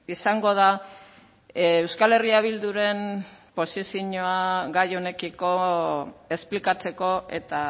izango da euskal herria bilduren posizioa gai honekiko esplikatzeko eta